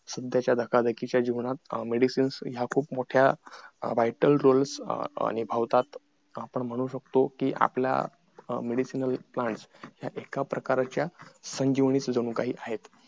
सध्याच्या धकाधकीच्या जीवनात medicine ह्या खूप मोठा vital role निभावतात आपण म्हणू शकतो कि आपल्या medicinal plants ह्या एका प्रकारच्या संजीवनी च जणू काही आहेत